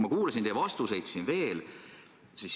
Ma kuulasin siin veel teie vastuseid.